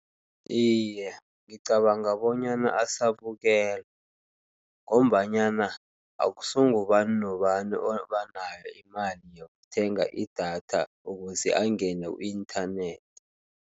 Iye ngicabanga bonyana asabukelwa, ngombanyana akusungubani nobani obanayo imali yokuthenga idatha, ukuze angene ku-inthanethi.